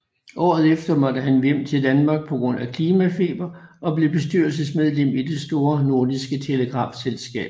Året efter måtte han vende hjem til Danmark på grund af klimafeber og blev bestyrelsesmedlem i Det Store Nordiske Telegrafselskab